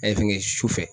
An ye fɛngɛ sufɛ